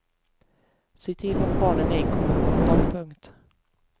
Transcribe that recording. Se till att barn ej kommer åt dem. punkt